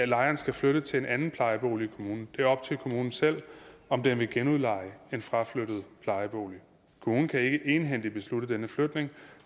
lejeren skal flytte til en anden plejebolig kommunen det er op til kommunen selv om den vil genudleje en fraflyttet plejebolig kommunen kan ikke egenhændigt beslutte denne flytning